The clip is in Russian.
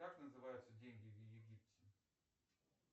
как называются деньги в египте